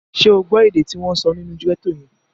Ṣé o gbọ́ èdè tí wọ́n sọ nínú gẹ́tò yẹn?